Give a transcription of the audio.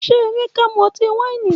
Ṣe Emeka mu ọti-waini?